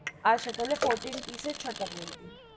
আচ্ছা, তাহলে fourteen piece ছ তা করে দিন.